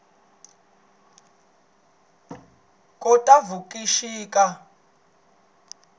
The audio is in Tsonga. khotavuxika